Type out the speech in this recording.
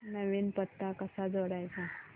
नवीन पत्ता कसा जोडायचा